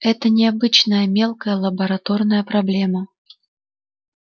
это не обычная мелкая лабораторная проблема